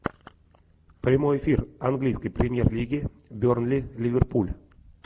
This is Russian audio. прямой эфир английской премьер лиги бернли ливерпуль